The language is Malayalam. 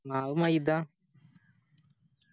മാവ് മൈദ